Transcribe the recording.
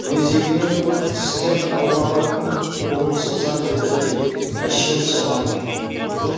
өзегіне құрт түскен алмаға кім қолын созар еді деп әшейін соған